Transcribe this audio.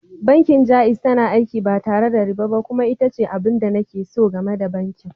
Bankin Jaiz tana aiki ba tare da riba ba kuma ita ce abin da nake so game da bankin.